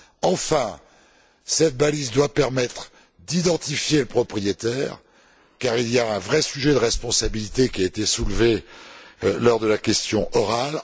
Enfin, cette balise doit permettre d'identifier le propriétaire car il y a un vrai sujet de responsabilité qui a été soulevé lors de la question orale.